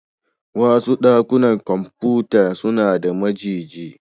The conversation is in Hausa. Wasu dakunan kwamfuta suna da majigi.